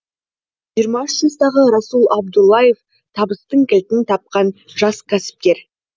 жиырма үш жастағы расул абдуллаев табыстың кілтін тапқан жас кәсіпкер